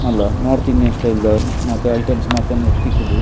ಮಲ್ಲ north Indian style ದ ಮಾತ ಐಟಮ್ಸ್ ಮಾತ ನೆಟ್ಟ್ ತಿಕ್ಕುಂಡು.